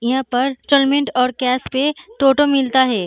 यहाँ पर इन्स्टॉल्मेन्ट और कैश मे टोटो मिलता हैं।